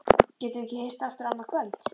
Getum við ekki hist aftur annað kvöld?